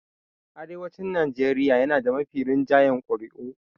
Arewacin Nigeria yana da mafi rinjayen ƙuri'u.